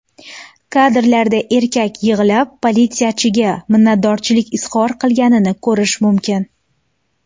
Kadrlarda erkak yig‘lab, politsiyachiga minnatdorlik izhor qilganini ko‘rish mumkin.